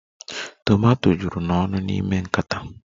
Tomato juru n'ọnụ n'ime nkata